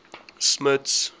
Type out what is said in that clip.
smuts